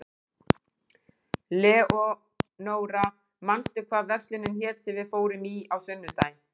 Leonóra, manstu hvað verslunin hét sem við fórum í á sunnudaginn?